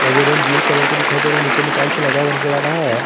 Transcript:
ये room blue colour के दिखाई दे रहे और नीचे में टाइल्स लगा हुआ नजर आ रहा है।